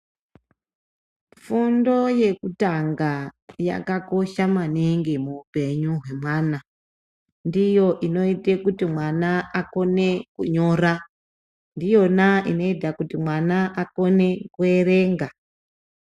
Fundo yekutanga yakakosha maningi muupenyu hwemwana. Ndiyo inoite kuti mwana akone kunyora. Ndiyona inoita kuti mwana akone kuerenga.